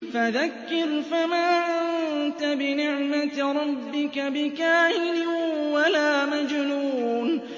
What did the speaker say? فَذَكِّرْ فَمَا أَنتَ بِنِعْمَتِ رَبِّكَ بِكَاهِنٍ وَلَا مَجْنُونٍ